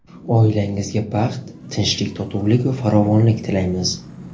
Oilangizga baxt, tinchlik-totuvlik va farovonlik tilaymiz.